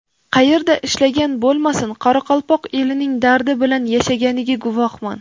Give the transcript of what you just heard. Qayerda ishlagan bo‘lmasin, qoraqalpoq elining dardi bilan yashaganiga guvohman.